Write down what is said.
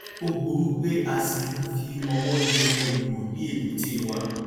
ó burú pé a ṣi ń fi ọwọ yẹ ẹrù wò ní èbúté wa